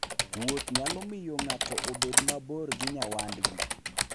Wuoth nyalo miyo ng'ato obed mabor gi nyawadgi.